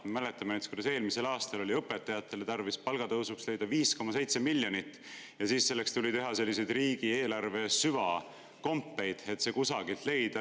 Me mäletame, kuidas eelmisel aastal oli tarvis õpetajate palgatõusuks leida 5,7 miljonit eurot ja selleks tuli teha riigieelarve süvakompeid, et see raha kusagilt leida.